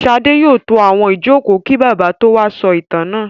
Ṣadé yóò tó àwọn ìjókòó kí Bàbá tó wá sọ ìtàn náà.